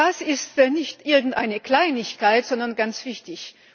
Das ist nicht irgendeine Kleinigkeit, sondern ganz wichtig.